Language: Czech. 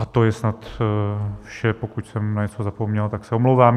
A to je snad vše, pokud jsem na něco zapomněl, tak se omlouvám.